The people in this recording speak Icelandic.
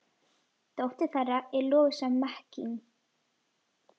Dóttir þeirra er Lovísa Mekkín.